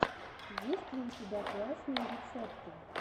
есть ли у тебя классные рецепты